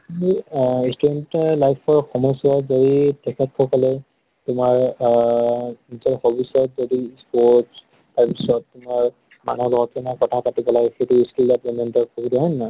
মোৰ আ student য়ে life ৰ সময় চোৱাত যদি তেখেত সকলে তোমাৰ আ গোটেই ভৱিষ্য়ত যদি sports তাৰপিছত তোমাৰ আমাৰ মানুহৰ লগত কেনেকে কথা পাতি পেলাই সেইটো skill ত , হয় নহয় ?